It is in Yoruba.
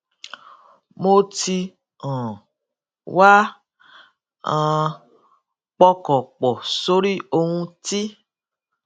mo ti um wá um pọkàn pọ sórí ohun tí